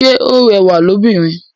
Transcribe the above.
Ṣe o rẹwa lóbìnrin?